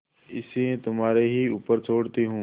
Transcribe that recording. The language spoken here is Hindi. इसे तुम्हारे ही ऊपर छोड़ती हूँ